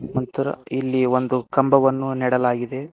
ಮತ್ತರ ಇಲ್ಲಿ ಒಂದು ಕಂಬವನ್ನು ನೆಡಲಾಗಿದೆ.